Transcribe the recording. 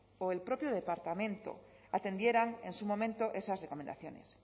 o el propio departamento atendieran en su momento esas recomendaciones